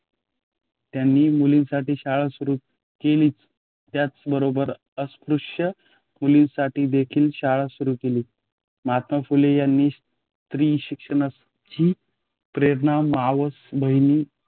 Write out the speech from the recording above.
त्यांनी मुलींसाठी शाळा सुरू केली त्याच बरोबर अस्पृश्य मुलांसाठी देखील शाळा सुरू केलीत. महात्मा फुले यांनी स्त्री शिक्षणाची प्रेरणा मावस बहीण